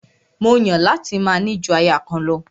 Mó Yàn láti máa ní ju aya kan lọ.